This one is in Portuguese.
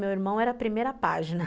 Meu irmão era a primeira página.